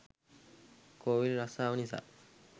කෝවිල් රස්සාව නිසා